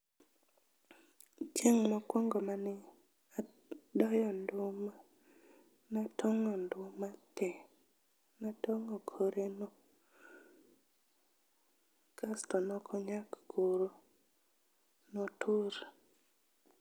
Chieng' mokuongo mane adoyo nduma, ne atong'o nduma te. Ne atong'o koreno. Kasto ne okonyak koro, notur.